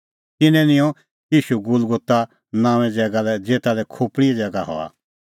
तिन्नैं निंयं ईशू गुलगुता नांओंए ज़ैगा लै ज़ेता लै खोपल़ीए ज़ैगा हआ